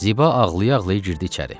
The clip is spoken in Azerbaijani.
Ziba ağlaya-ağlaya girdi içəri.